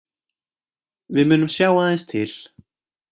Við munum sjá aðeins til